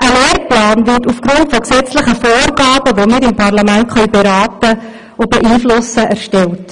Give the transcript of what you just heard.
wird ein Lehrplan aufgrund von gesetzlichen Vorgaben, die wir im Parlament beraten und beeinflussen können, erstellt.